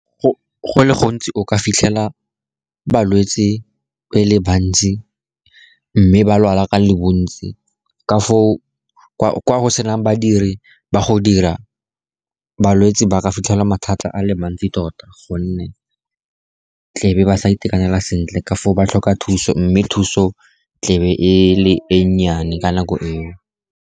Go le gontsi, o ka fitlhela balwetse e le bantsi, mme ba lwala ka le bontsi. Ka foo, kwa go senang badiri ba go dira, balwetse ba re fitlhela mathata a le mantsi tota, gonne tlebe ba sa itekanela sentle. Ka foo ba tlhoka thuso, mme thuso tlebe e le e nnyane ka nako eo.